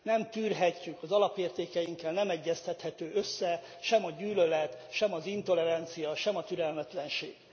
Nem tűrhetjük, az alapértékeinkkel nem egyeztethető össze sem a gyűlölet, sem az intolerancia, sem a türelmetlenség.